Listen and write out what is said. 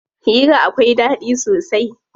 Hira akwai ɗaɗi sosai.